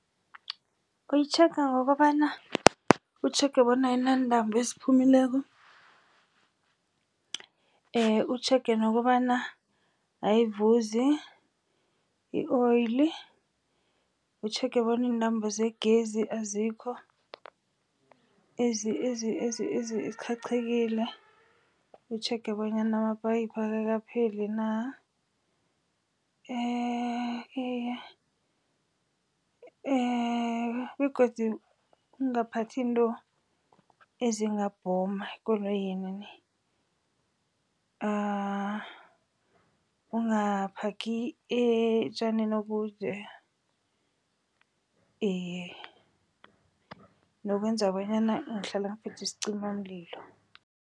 Uyitjhega ngokobana, utjhege bona ayinantambo eziphumileko, utjhege nokobana ayivuzi i-oil, utjhege bona intambo zegezi azikho eziqhaqhekile, utjhege bonyana amaphayiphu akapheli na. Iye begodu ungaphathi into ezingabhoma ekoloyini ni. Ungaphagi etjanini obude, iye nokwenza bonyana ngihlala ngiphethe isicimamlilo.